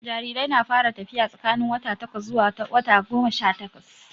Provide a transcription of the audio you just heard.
Jarirai na fara tafiya tsakanin wata takwas zuwa wata goma sha takwas